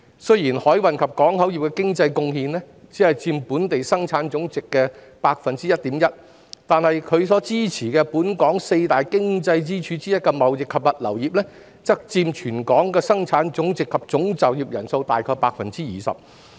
雖然海運及港口業的經濟貢獻只佔本地生產總值的 1.1%， 但其所支持的本港四大經濟支柱之一的貿易及物流業，則佔本地生產總值及總就業人數大概 20%。